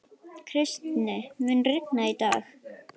Kristý, mun rigna í dag?